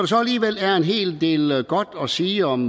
så alligevel er en hel del godt at sige om